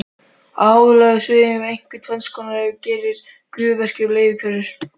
Á háhitasvæðunum eru einkum tvenns konar hverir, gufuhverir og leirhverir.